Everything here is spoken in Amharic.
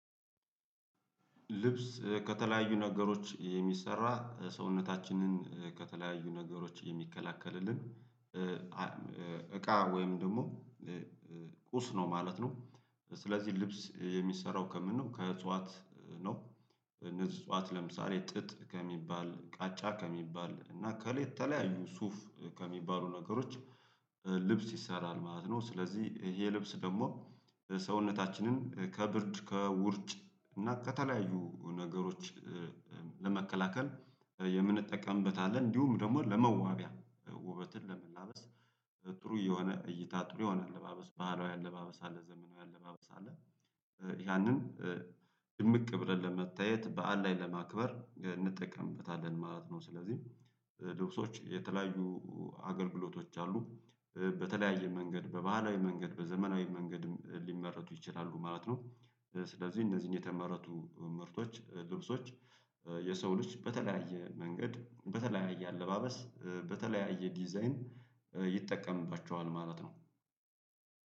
ልብስ ከተለያዩ ነገሮች የሚሰራ ሰውነታችንን ከተለያዩ ነገሮች የሚከላከልልን እቃ ወይም ደግሞ ቁስ ነው ማለት ነው። ስለዚህ ልብስ የሚሰራው ከምን ነው ከእጽዋት ነው። እጽዋት ለምሳሌ ጥጥ ከሚባል ቃጫ ከሚባል እና ከሌት የተለያዩ ሱፍ ከሚባሉ ነገሮች። ልብስ ይሰራል ማለት ነው ስለዚህ ይሄ ልብስ ደግሞ ሰውነታችንን ከብርድ ከውርጭ እና ከተለያዩ ነገሮች ለመከላከል የምንጠቀምበት አለ። እንዲሁም ደግሞ ለመዋቢያ ውበትን ለመላበስ ጥሩ የሆነ እይታ ጥሩ የሆነ አለባበስ ባህላዊ አለባበስ አለ ዘመናዊ አለባበስ አለ። ያንን ድምቅ ብለን ለመታየት በዓል ላይ ለማክበር እንጠቀምበታለን ማለት ነው። ስለዚህ ልብሶች የተለያዩ አገልግሎቶች አሉ በተለያየ መንገድ በባህላዊ መንገድ በዘመናዊ መንገድ ሊመረቱ ይችላሉ ማለት ነው። ስለዚህ እነዚህን የተመረቱ ምርቶች ልብሶች የሰው ልጅ በተለያየ መንገድ በተለያየ አለባበስ በተለያየ ዲዛይን ይጠቀምባቸዋል ማለት ነው።